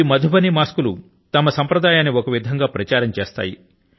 ఈ మధుబనీ మాస్కులు తమ సంప్రదాయాన్ని ఒక విధం గా ప్రచారం చేస్తాయి